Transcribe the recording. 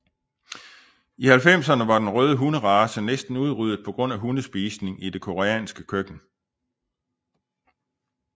I 90erne var denne røde hunderace næsten udryddet på grund af hundespisning i det koreanske køkken